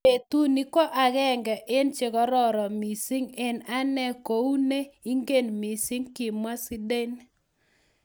"Betuni ko agenge en che kororon mising en ane ko oo ne ingen mising," kimwa Zidane